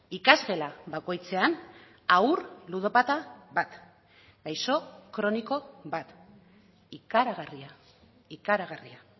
ikasgela bakoitzean haur ludopata bat gaixo kroniko bat ikaragarria ikaragarria